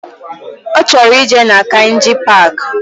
Ọchọrọ ije na Kainji park